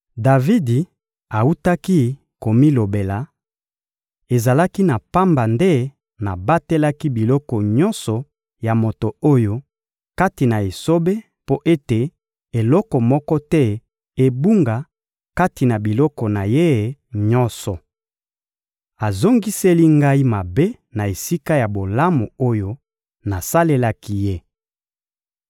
Davidi awutaki komilobela: «Ezalaki na pamba nde nabatelaki biloko nyonso ya moto oyo kati na esobe mpo ete eloko moko te ebunga kati na biloko na ye nyonso! Azongiseli ngai mabe na esika ya bolamu oyo nasalelaki ye!